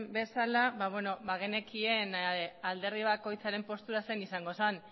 bezala bagenekien alderdi bakoitzaren postura zein izango zen